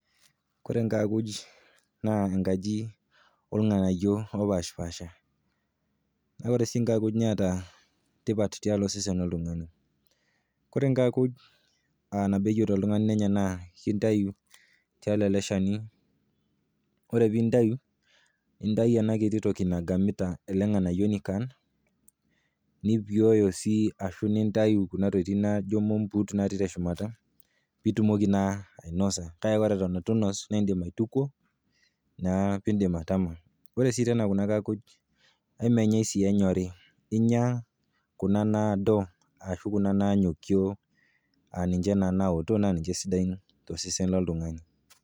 Ore inkaakuj naa enkaji olng'anayo opaashipaasha, na ore sii inkaakuj neata tipat tialo osesen loltung'ani. Kore inkaakuj nabo eyeuta oltung'ani nenya naa keitayu tialo ele shani, ore pee intayu, nintayu ena kiti toki nagamita ele ng'anayoni kaan, nipeoyo sii kuna tokitin naijo impuut nagamita teshumata, pee itumoki naa ainosa, kake ore pee eton eitu inos, naa indim aitukuo neaku indim atama. Ore sii tena kuna kaakuj, ai menyai sii enyoei, inya kuna nadoo ashu kuna nanyokio aninche naa naoto naa ninche sidain to sesen loltung'ani.